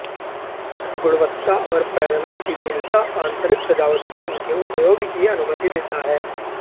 गुणवत्ता और पैनलों की विविधता आंतरिक सजावट पर उनके उपयोग की अनुमति देता है